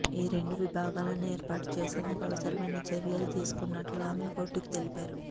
ఈరెండు విభాగాలను ఏర్పాటు చేసేందుకు అవసరమైన చర్యలు తీసుకుంటున్నట్లు ఆమె కోర్టుకు తెలిపారు